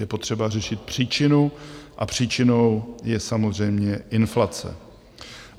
Je potřeba řešit příčinu a příčinou je samozřejmě inflace.